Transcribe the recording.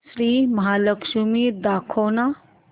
श्री महालक्ष्मी दाखव ना